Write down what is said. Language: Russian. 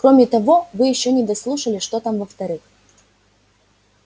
кроме того вы ещё не дослушали что там во-вторых